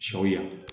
Sɔ yan